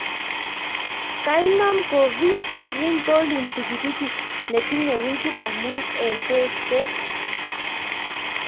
Kainom Koffi N'Dri Paulin pigipigi netinye winjit amun en tegseet